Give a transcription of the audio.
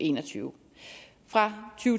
en og tyve fra